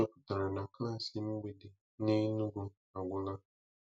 chọpụtara na klaasị mgbede n’Enugu agwụla.